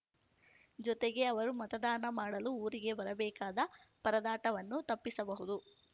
ಜೊತೆಗೆ ಅವರು ಮತದಾನ ಮಾಡಲು ಊರಿಗೆ ಬರಬೇಕಾದ ಪರದಾಟವನ್ನು ತಪ್ಪಿಸಬಹುದು